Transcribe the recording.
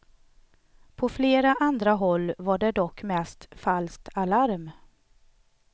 På flera andra håll var det dock mest falskt alarm.